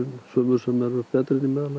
sumur sem eru betri en í meðallagi